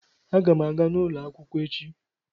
Agam aga n'ulo akwukwo echi.